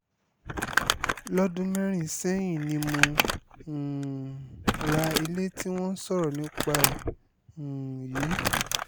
lọ́dún mẹ́rin sẹ́yìn ni mo um ra ilé tí wọ́n ń sọ̀rọ̀ nípa ẹ̀ um yìí